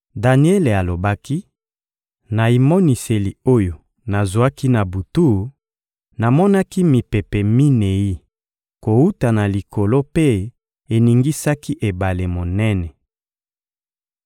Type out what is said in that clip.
Daniele alobaki: Na emoniseli oyo nazwaki na butu, namonaki mipepe minei kowuta na likolo mpe eningisaki ebale monene.